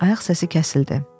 Ayaq səsi kəsildi.